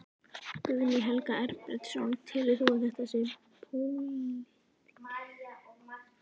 Guðný Helga Herbertsdóttir: Telur þú að þetta sé pólitískt valdatafl?